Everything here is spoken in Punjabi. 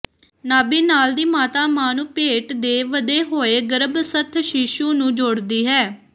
ਨਾਭੀਨਾਲ ਦੀ ਮਾਤਾ ਮਾਂ ਨੂੰ ਪੇਟ ਦੇ ਵਧੇ ਹੋਏ ਗਰੱਭਸਥ ਸ਼ੀਸ਼ੂ ਨੂੰ ਜੋੜਦੀ ਹੈ